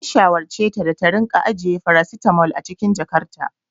An shawarceta da ta dinga ajiye farasitamol a cikin jakarta.